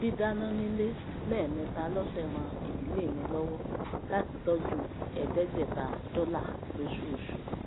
dídáná nílé lẹẹmẹta lọsẹ ran ìdílé mi lọwọ láti tọju ẹẹdẹgbẹta dọlà lósoosù